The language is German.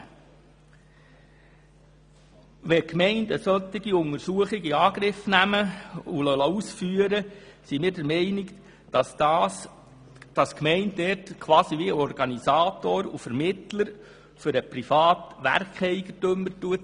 Wenn die Gemeinden solche Untersuchungen in Angriff nehmen und ausführen lassen, tritt unseres Erachtens die Gemeinde als Organisator und Vermittler für den privaten Werkeigentümer auf.